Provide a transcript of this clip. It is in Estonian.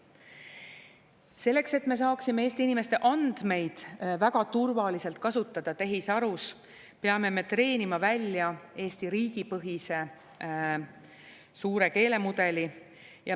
Selleks, et me saaksime Eesti inimeste andmeid väga turvaliselt kasutada tehisarus, peame me treenima välja Eesti riigipõhise suure keelemudeli.